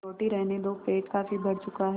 रोटी रहने दो पेट काफी भर चुका है